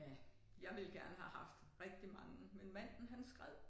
Ja jeg ville gerne have haft rigtig mange men manden han skred